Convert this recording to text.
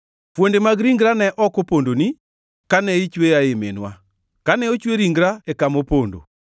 Fuonde mag ringra ne ok opondoni, kane ochweya ei minwa, kane ochwe ringra e kama opondo,